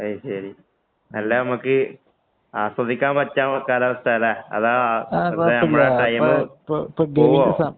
അത് ശരി. അല്ല നമ്മക്ക് ആസ്വദിക്കാന്‍ പറ്റിയ കാലാവസ്ഥയാ അല്ലേ. അതോ? നമ്മുടെ ടൈമ് പോവോ?